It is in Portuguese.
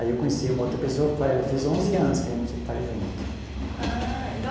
Aí eu conheci uma outra pessoa, faz fiz onze anos que a gente está junto. Ah então